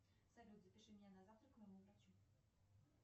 салют запиши меня на завтра к моему врачу